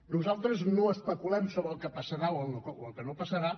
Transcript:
nosaltres no especulem sobre el que passarà o el que no passarà